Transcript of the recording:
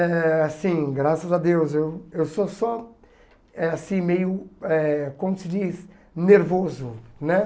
É assim, graças a Deus, eu eu sou só eh assim meio, eh como se diz, nervoso, né?